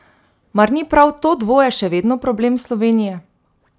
Mar ni prav to dvoje še vedno problem Slovenije?